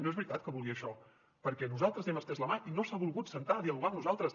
no és veritat que vulgui això perquè nosaltres li hem estès la mà i no s’ha volgut asseure a dialogar amb nosaltres